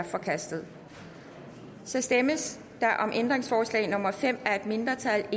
forkastet så stemmes der om ændringsforslag nummer fem af et mindretal